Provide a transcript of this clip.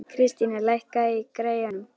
Kristíana, lækkaðu í græjunum.